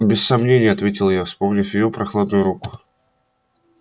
без сомнения ответил я вспомнив её прохладную руку